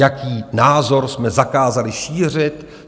Jaký názor jsme zakázali šířit?